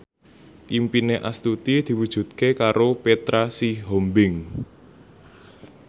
impine Astuti diwujudke karo Petra Sihombing